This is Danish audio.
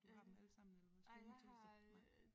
Du har dem allesammen eller hvad streamingtjenester nej